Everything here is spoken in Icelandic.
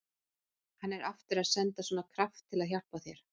Hann er aftur að senda svona kraft til að hjálpa þér.